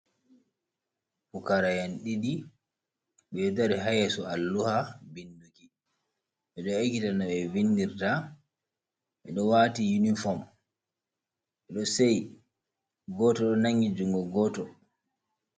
Pukara'en ɗiɗi ɓeɗo dari ha yeso alluha binduki bedo ekita no be vindirta. Ɓedo wati uniform sei goto do nangi jungo goto.